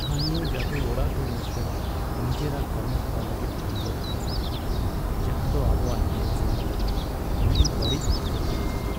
ᱛᱷᱟᱹᱱᱤᱭᱚ ᱡᱟᱹᱫᱩᱚᱲᱟᱜ ᱫᱚ ᱢᱤᱫᱴᱟᱝ ᱱᱤᱡᱮᱨᱟᱜ ᱠᱟᱹᱢᱤᱦᱚᱨᱟ ᱞᱟᱹᱜᱤᱫ ᱵᱚᱱᱫᱚ ᱛᱟᱦᱮᱸ ᱠᱟᱱᱟ, ᱡᱟᱦᱟᱸᱫᱚ ᱟᱵᱚᱣᱟᱜ ᱧᱮᱞ ᱥᱮᱱᱚᱜ ᱞᱟᱹᱜᱤᱫ ᱟᱹᱰᱤ ᱵᱟᱹᱲᱤᱡ ᱚᱠᱛᱚ ᱛᱟᱦᱮᱸ ᱠᱟᱱᱟ ᱾